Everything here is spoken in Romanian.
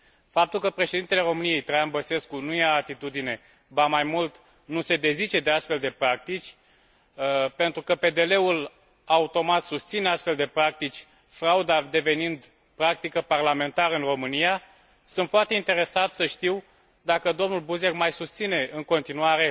Faptul că președintele României, Traian Băsescu, nu ia atitudine ba mai mult, nu se dezice de astfel de practici pentru că PDL ul automat susține astfel de practici, frauda devenind practică parlamentară în România, sunt foarte interesat să știu dacă domnul Buzek mai susține în continuare